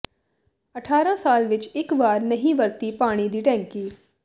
ਅਠਾਰਾਂ ਸਾਲ ਵਿੱਚ ਇਕ ਵਾਰ ਨਹੀਂ ਵਰਤੀ ਪਾਣੀ ਦੀ ਟੈਂਕੀ